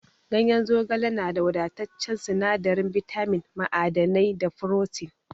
Ganyen zogale na da wadataccen sinadarin bitamin, ma'adanai, da furotin.